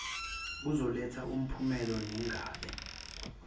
kuzoletha umphumela ningabi